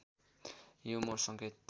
यो मोर्स सङ्केत